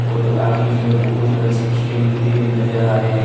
और आगे की ओर बहुत बच्चे खेलते हुए नजर आ रहे--